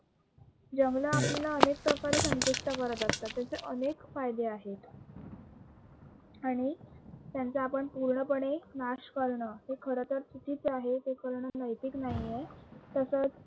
जंगले आपल्याला अनेक प्रकारे संतुष्ट करत असतात, त्याचे अनेक फायदे आहेत आणि त्यांचा आपण पूर्णपणे नाश करण हे खर तर चुकीच आहे, हे करणे नैतिक नाही आहे. तसेच